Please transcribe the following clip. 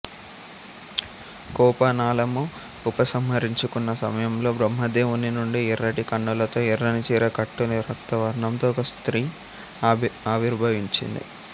కోపానలము ఉపసంహరించుకున్న సమయంలో బ్రహ్మదేవుని నుండి ఎర్రటి కన్నులతో ఎర్రని చీర కట్టుని రక్త వర్ణంతో ఒక స్త్రీ ఆవిర్భవించింది